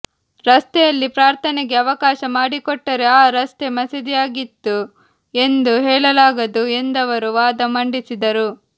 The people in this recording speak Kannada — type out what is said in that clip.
ರಸ್ತೆಯಲ್ಲಿ ಪ್ರಾರ್ಥನೆಗೆ ಅವಕಾಶ ಮಾಡಿಕೊಟ್ಟರೆ ಆ ರಸ್ತೆ ಮಸೀದಿಯಾಗಿತ್ತು ಎಂದು ಹೇಳಲಾಗದು ಎಂದವರು ವಾದ ಮಂಡಿಸಿದರು